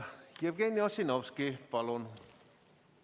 Jevgeni Ossinovski, palun!